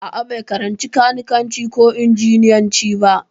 A'a, bai karanci kanikanci ko injiniyanci ba.